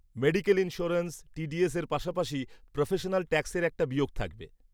-Medical insurance, টিডিএস-এর পাশাপাশি professional ট্যাক্সের একটা বিয়োগ থাকবে।